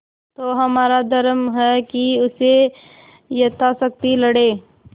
तो हमारा धर्म है कि उससे यथाशक्ति लड़ें